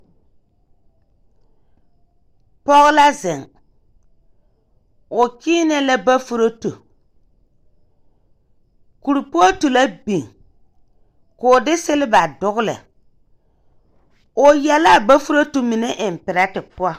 Pɔɔ la zeŋ, o kyeenɛ la bofurotu. Kurpootu la biŋ, k'o de seleba dogele. O ya la a bofurotu mine eŋ perɛte poɔ.